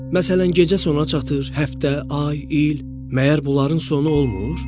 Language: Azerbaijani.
Məsələn, gecə sona çatır, həftə, ay, il, məyər bunların sonu olmur?